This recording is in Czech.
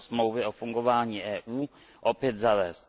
2 Smlouvy o fungování EU, opět zavést.